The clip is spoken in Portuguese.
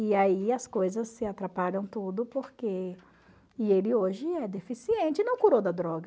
E aí as coisas se atrapalham tudo porque e ele hoje é deficiente e não curou da droga.